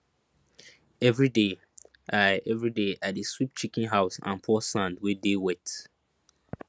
everyday i everyday i dey sweep chicken house and pour sand wey dey wet